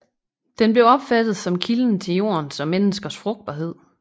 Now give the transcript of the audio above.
Den blev opfattet som kilden til jordens og menneskers frugtbarhed